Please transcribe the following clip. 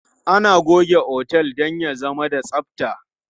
Ana goge otel don ya zama da tsabta.